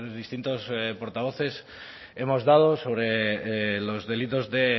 distintos portavoces hemos dado sobre los delitos de